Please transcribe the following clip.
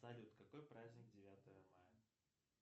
салют какой праздник девятое мая